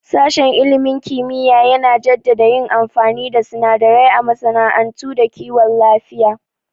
Sashen ilimin kimiyya yana jaddada yin amfani da sunadarai a masana'antu da kiwon lafiya